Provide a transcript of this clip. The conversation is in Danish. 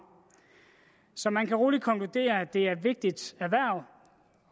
så man kan roligt konkludere at det er et vigtigt erhverv